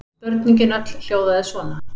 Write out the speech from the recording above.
Spurningin öll hljóðaði svona: